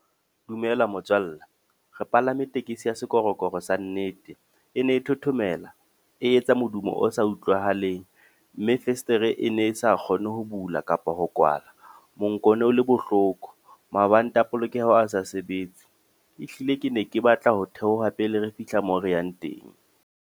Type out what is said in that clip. Dumela motswalle. Re palame tekesi ya sekorokoro sa nnete. E ne e thothomela, e etsa modumo o sa utlwahaleng. Mme festere e ne e sa kgone ho bula kapa ho kwala. Monko o le bohloko, mabanta a polokeho a sa sebetse. Ehlile ke ne ke batla ho theoha pele re fihla mo re yang teng.